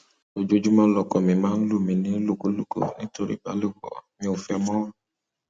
ojoojúmọ lọkọ mi máa ń lù mí nílùkulù nítorí ìbálòpọ mi ò fẹ ẹ mọ